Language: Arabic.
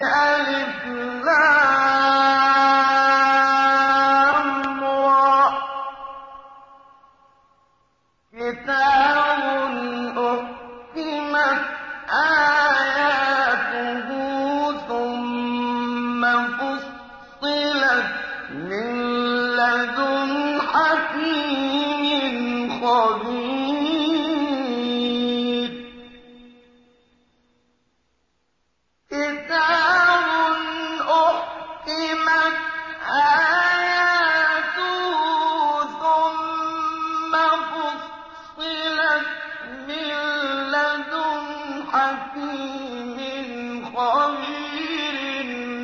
الر ۚ كِتَابٌ أُحْكِمَتْ آيَاتُهُ ثُمَّ فُصِّلَتْ مِن لَّدُنْ حَكِيمٍ خَبِيرٍ